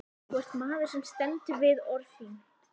Þú ert maður sem stendur við orð þín.